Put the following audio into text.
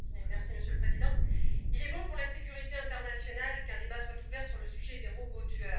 Monsieur le Président, il est bon pour la sécurité internationale qu'un débat soit ouvert sur le sujet des robots tueurs.